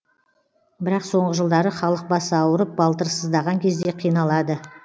бірақ соңғы жылдары халық басы ауырып балтыры сыздаған кезде қиналады